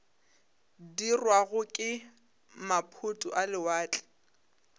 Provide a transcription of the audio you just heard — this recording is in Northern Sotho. dirwago ke maphoto a lewatle